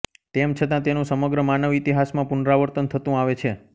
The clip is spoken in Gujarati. તેમ છતાં તેનું સમગ્ર માનવ ઇતિહાસમાં પુનરાવર્તન થતું આવે છે